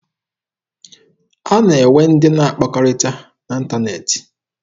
A na-enwe ndị na akpakọrịta n'ịntaneetị.